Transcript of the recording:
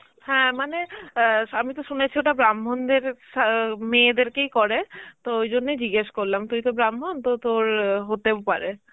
হ্যাঁ মানে অ্যাঁ আমি তো শুনেছি ওটা ব্রাহ্মণদের স~ মেয়েদেরকেই করে, তো ওই জন্যেই জিজ্ঞেস করলাম, তুই তো ব্রাহ্মণ, তো তোর আ হতেও পারে.